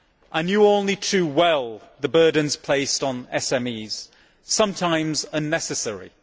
I knew only too well the burdens placed on SMEs, sometimes unnecessarily.